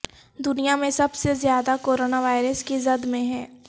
دنیا میں سب سے زیادہ کورونا وائرس کی زد میں ہے